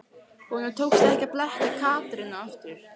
Honum tókst ekki að blekkja Katrínu aftur.